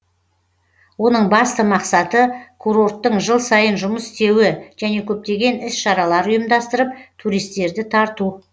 оның басты мақсаты курорттың жыл сайын жұмыс істеуі және көптеген іс шаралар ұйымдастырып туристерді тарту